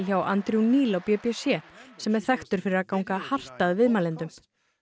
hjá Andrew Neil á b b c sem er þekktur fyrir að ganga hart að viðmælendum